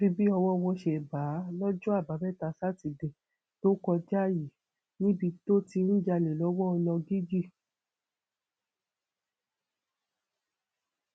àfi bí ọwọ wọn ṣe bá a lọjọ àbámẹta sátidé tó kọjá yìí níbi tó ti ń jalè lọwọ lọgíjì